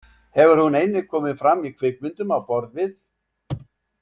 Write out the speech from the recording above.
Hefur hún einnig komið fram í kvikmyndum á borð við.